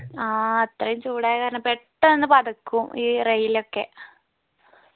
ആ അത്രയും ചൂടായകാരണം പെട്ടെന്ന് പതക്കും ഈ rail ഒക്കെ